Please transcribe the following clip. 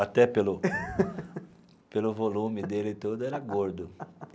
Até pelo pelo volume dele todo, era gordo.